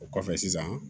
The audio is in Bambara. O kɔfɛ sisan